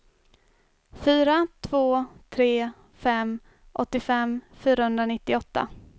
fyra två tre fem åttiofem fyrahundranittioåtta